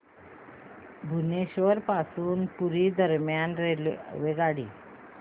भुवनेश्वर पासून पुरी दरम्यान रेल्वेगाडी